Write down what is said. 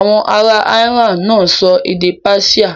Àwọn ará Iran náà ń sọ èdè Persian.